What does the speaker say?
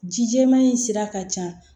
Ji jɛman in sira ka ca